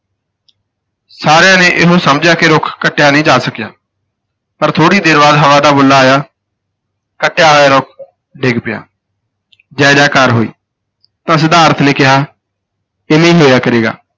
ਸਾਰਿਆਂ ਨੇ ਇਹੋ ਸਮਝਿਆ ਕਿ ਰੁੱਖ ਕੱਟਿਆ ਨਹੀਂ ਜਾ ਸਕਿਆ, ਪਰ ਥੋੜ੍ਹੀ ਦੇਰ ਬਾਅਦ ਹਵਾ ਦਾ ਬੁੱਲਾ ਆਇਆ, ਕੱਟਿਆ ਹੋਇਆ ਰੁੱਖ ਡਿੱਗ ਪਿਆ ਜੈ ਜੈ ਕਾਰ ਹੋਈ ਤਾਂ ਸਿਧਾਰਥ ਨੇ ਕਿਹਾ, ਇਵੇਂ ਹੀ ਹੋਇਆ ਕਰੇਗਾ।